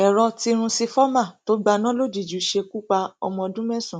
èrò tìrúnsifọmà tó gbaná lójijì ṣekú pa ọmọ ọdún mẹsàn